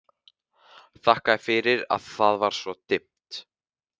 Þakkaði fyrir að það var svona dimmt.